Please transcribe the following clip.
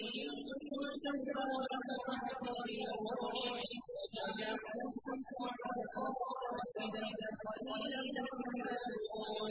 ثُمَّ سَوَّاهُ وَنَفَخَ فِيهِ مِن رُّوحِهِ ۖ وَجَعَلَ لَكُمُ السَّمْعَ وَالْأَبْصَارَ وَالْأَفْئِدَةَ ۚ قَلِيلًا مَّا تَشْكُرُونَ